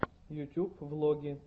ютуб влоги